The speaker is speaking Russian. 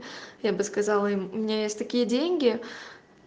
я бы сказала им у меня есть такие деньги